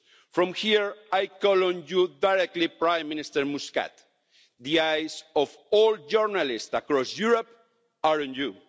From here I call on you directly, Prime Minister Muscat the eyes of all journalists across Europe are on you.